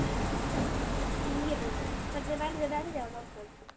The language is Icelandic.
Ýrún, hvernig verður veðrið á morgun?